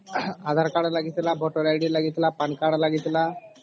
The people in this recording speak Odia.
aadhar card ଲାଗିଥିଲା voter id ଲାଗିଥିଲା pan card ଲାଗିଥିଲା